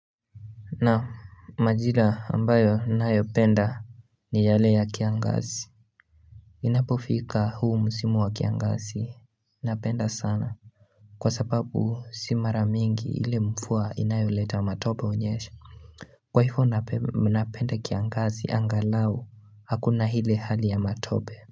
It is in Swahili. Na majira ambayo ninayopenda ni yale ya kiangazi Inapofika huu musimu wa kiangazi napenda sana Kwa sababu si maramingi ile mvua inayoleta matope hunyesha Kwa hivyo napenda kiangazi angalau hakuna ile hali ya matope.